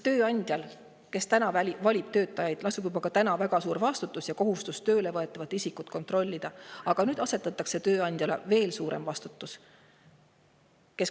Tööandjal, kes valib töötajaid, lasub juba praegu väga suur vastutus ja kohustus tööle võetavat isikut kontrollida, aga nüüd asetatakse talle veel suurem vastutus.